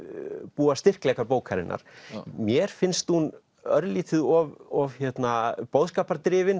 búa styrkleikar bókarinnar mér finnst hún örlítið of of